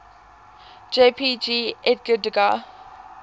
jpg edgar degas